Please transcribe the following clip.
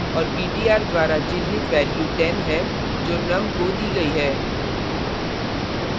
और ptr द्वारा चिन्हित value 10 है जो num को दी गई है